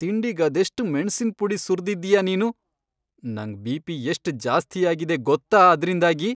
ತಿಂಡಿಗದೆಷ್ಟ್ ಮೆಣ್ಸಿನ್ ಪುಡಿ ಸುರ್ದಿದ್ಯಾ ನೀನು! ನಂಗ್ ಬಿಪಿ ಎಷ್ಟ್ ಜಾಸ್ತಿ ಆಗಿದೆ ಗೊತ್ತಾ ಅದ್ರಿಂದಾಗಿ.